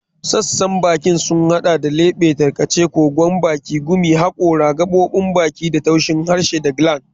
Sassan bakin sun hada da lebe, tarkace, kogon baki, gumi, hakora, gaɓoɓin baki da taushi, harshe da gland.